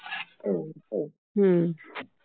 हो, हो.